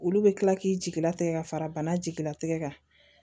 Olu bɛ kila k'i jigilatigɛ ka fara bana jigilatigɛ kan